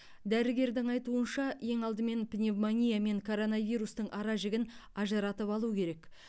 дәрігердің айтуынша ең алдымен пневмония мен коронавирустың ара жігін ажыратып алу керек